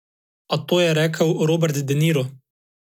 A to je rekel Robert De Niro.